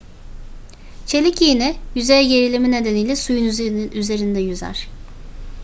çelik iğne yüzey gerilimi nedeniyle suyun üzerinde yüzer